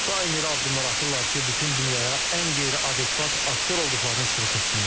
Daim elə addımlar atırlar ki, bütün dünyaya ən qeyri-adekvat aktor olduqlarını sübut etsinlər.